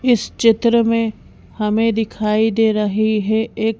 इस चित्र में हमें दिखाई दे रही है एक--